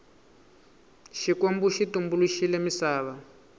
xikwembu xi tumbuluxile misava